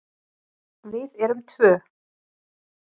Við erum tvö.